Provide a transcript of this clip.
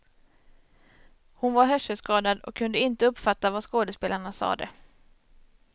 Hon var hörselskadad och kunde inte uppfatta vad skådespelarna sade.